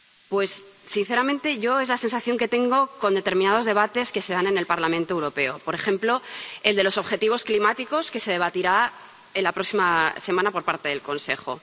Pues, sinceramente, yo es la sensación que tengo con determinados debates que se dan en el Parlamento Europeo, por ejemplo, el de los objetivos climáticos, que se debatirá la próxima semana en el Consejo.